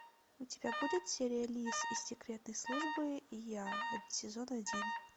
у тебя будет серия лис из секретной службы и я сезон один